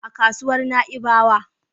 A kasuwar Na'ibawa.